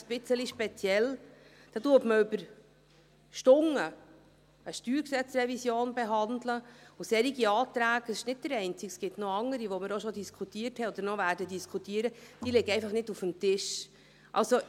Ich finde es sowieso ein bisschen speziell, dass über Stunden eine StG-Revision behandelt wird, aber solche Anträge – es ist nicht der einzige, es gibt noch andere, welche wir schon diskutiert haben oder noch diskutieren werden –nicht auf dem Tisch liegen.